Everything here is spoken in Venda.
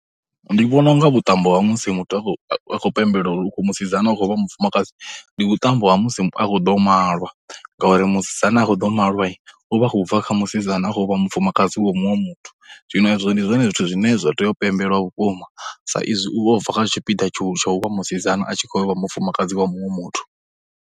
Ndi vhona unga vhuṱambo ha musi muthu a khou a khou pembelela uri u musidzana u khou vha mufumakadzi ndi vhuṱambo ha musi a khou ḓa u malwa ngauri, musidzana a khou ḓa u malwai u vha a khou bva kha musidzana a khou vha mufumakadzi wa muṅwe muthu, zwino hezwo ndi zwone zwithu zwine zwa tea u pembelwa vhukuma sa izwi u vha o bva kha tshipiḓa tsha u vha musidzana a tshi khou yo vha mufumakadzi wa muṅwe muthu.